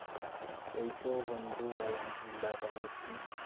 এই তো বন্ধু আলহামদুল্লিহা এই তো ভালো আছি?